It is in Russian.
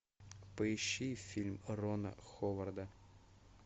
поищи фильм рона ховарда